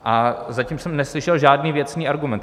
A zatím jsem neslyšel žádný věcný argument.